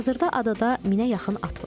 Hazırda adada minə yaxın at var.